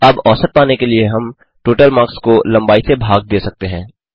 अब औसत पाने के लिए हम टोटल मार्क्स को लम्बाई से भाग दे सकते हैं